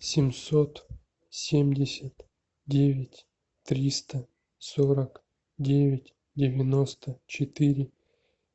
семьсот семьдесят девять триста сорок девять девяносто четыре